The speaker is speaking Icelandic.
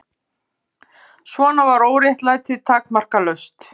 Svona var óréttlætið takmarkalaust.